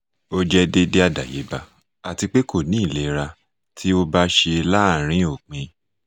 o jẹ deede adayeba ati pe ko ni ilera ti o ba ṣe laarin opin